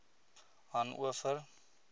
hanover